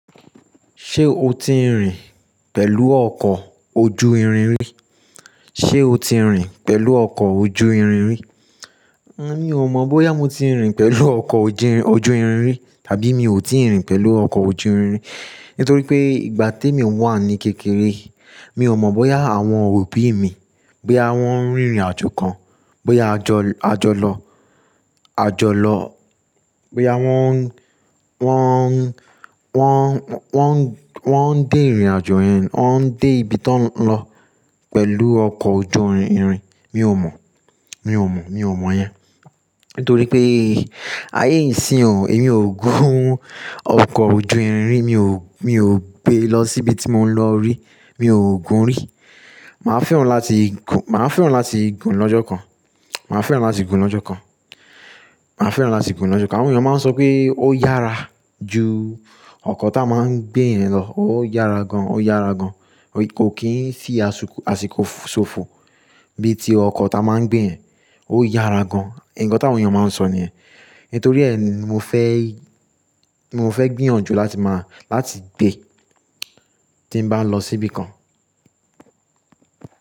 Ṣé o ti rìn pẹ̀lú ọkọ̀ ojú irin rí? Ṣé o ti rìn pẹ̀lú ọkọ̀ ojú irin rí? Emi o mọ̀ bóyá mo ti rìn pẹ̀lú ọkọ̀ ojú irin rí tàbí mi ò ti rìn pẹ̀lú ọkọ̀ ojú irin rí, nítorí pé ìgbà tí emi wà ní kékeré mi ò mọ̀ bóyá àwọn òbí mi, bóyá wọ́n rin ìrìn àjò kan, bóyá a jọ lọ, a jọ lọ, bóyá wọ́n, wọ́n, wọ́n, wọ́n, wọ́n n dé ìrìn àjò yẹn, wọ́n n dé ibi ti won lọ pẹ̀lú ọkọ̀ ojú irin, mi ò mọ̀, mi ò mọ̀, mi ò mọ̀ yẹn. Nítorí pé ayé ìsín ò, èmi ò gun ọkọ̀ ojú irin rí, mi ò, mi ò gbé lọ síbi tí mò ń lọ rí, mi ò gun rí. Màá fẹ́ràn láti gun, màá fẹ́ràn láti gun lọ́jọ́ kan, màá fẹ́ràn láti gun lọ́jọ́ kan, màá fẹ́ràn láti gun lọ́jọ́ kan. Àwọn èèyàn máa ń sọ pé ó yára ju ọkọ̀ ta máa ń gbé yẹn lọ, ó yára gan, ó yára gan. Ko kì n fí àsìkò, àsìkò ṣófo bí i ti ọkọ̀ ta máa ń gbé ẹ, ó yára gan. Nkan tí àwọn èèyàn máa ń sọ niyen. Nítorí ẹ mo fẹ́, mo fẹ́ gbìyànjú láti máa, láti gbé tí n bá lọ síbi kan.